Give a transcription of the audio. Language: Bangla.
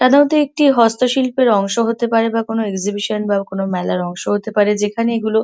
সাধারণত একটি হস্তশিল্পের অংশ হতে পারে বা কোন এক্সিবিশন বা কোন মেলার অংশ হতে পারে যেখানে এগুলো--